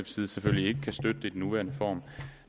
side selvfølgelig ikke kan støtte det i den nuværende form